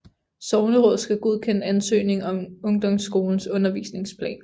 Sognerådet skal godkende ansøgningen om ungdomsskolens undervisningsplan